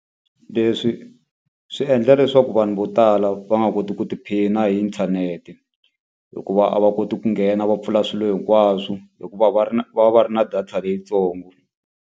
Leswi swi endla leswaku vanhu vo tala va nga koti ku tiphina hi inthanete. Hikuva a va koti ku nghena va pfula swilo hinkwaswo, hikuva va ri na va va va ri na data leyitsongo.